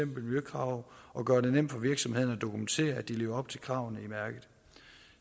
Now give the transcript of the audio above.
miljøkrav og gøre det nemt for virksomhederne at dokumentere at de lever op til kravene i mærket